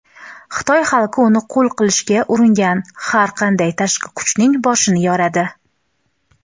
Xitoy xalqi uni qul qilishga uringan har qanday tashqi kuchning "boshini yoradi".